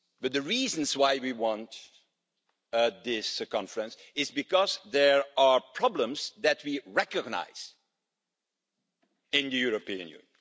The reason why we want this Conference is because there are problems that we recognise in the European Union.